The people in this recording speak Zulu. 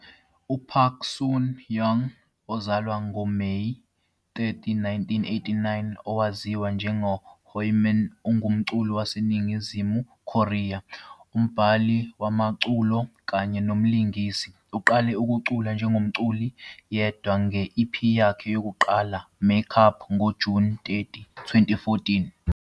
UPark Sun-young, owazalwa ngoMeyi 30, 1989, owaziwa njengoHyomin, ungumculi waseNingizimu Korea, umbhali wamaculo kanye nomlingisi. Uqale ukucula njengomculi yedwa nge-EP yakhe yokuqala, "Make Up", ngoJuni 30, 2014.